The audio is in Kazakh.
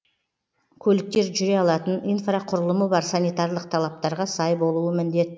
көліктер жүре алатын инфрақұрылымы бар санитарлық талаптарға сай болуы міндет